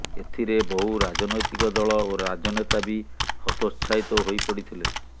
ଏଥିରେ ବହୁ ରାଜନୈତିକ ଦଳ ଓ ରାଜନେତା ବି ହତୋତ୍ସାହିତ ହୋଇପଡ଼ିଥିଲେ